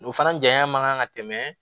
O fana janya man kan ka tɛmɛ